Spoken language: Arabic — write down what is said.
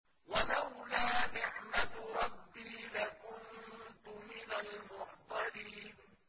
وَلَوْلَا نِعْمَةُ رَبِّي لَكُنتُ مِنَ الْمُحْضَرِينَ